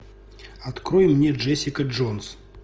открой мне джессика джонс